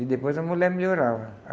E depois a mulher melhorava.